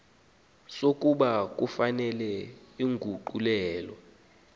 sokuba kufuneka inguqulelo